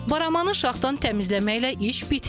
Baramanı şaxdan təmizləməklə iş bitmir.